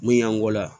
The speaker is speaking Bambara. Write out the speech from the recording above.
Mun y'an kɔ la